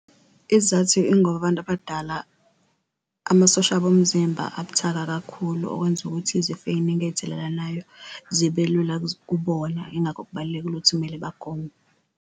Isizathu ingoba abantu abadala amasosha abo omzimba abuthaka kakhulu, okwenza ukuthi izifo ey'ningi ey'thelelanayo zibe lula kubona, ingakho kubalulekile ukuthi kumele bagome.